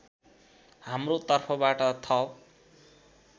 हाम्रो तर्फबाट थप